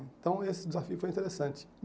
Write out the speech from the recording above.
Então esse desafio foi interessante.